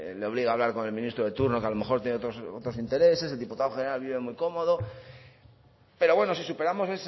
le obliga a hablar con el ministro de turno que a lo mejor tiene otros intereses el diputado general vive muy cómodo pero bueno si superamos